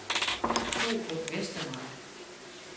Torup Vestermark